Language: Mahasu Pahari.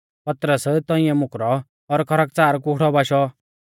पतरस तौंइऐ मुकरौ और खरकच़ार कुखड़ौ बाशौ